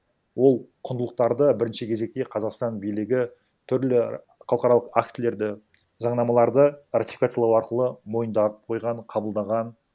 ол құндылықтарды бірінші кезекте қазақстан билігі түрлі халықаралық актілерді заңнамаларды ратификациялау арқылы мойындап қойған қабылдаған